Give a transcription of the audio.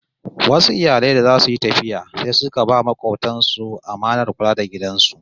Wasu iyali da zasu yi tafiya sai suka ba makobtan su amanar kula da gidan su